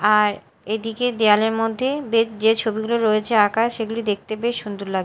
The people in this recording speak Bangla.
আর এদিকে দেয়ালের মধ্যে বে যে ছবিগুলো রয়েছে আঁকা সেগুলি দেখতে বেশ সুন্দর লাগ--